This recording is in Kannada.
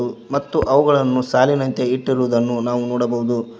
ಮತ್ತು ಅವುಗಳನ್ನು ಸಾಲಿನಂತೆ ಇಟ್ಟಿರುದನ್ನು ನಾವು ನೋಡಬಹುದು.